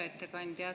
Hea ettekandja!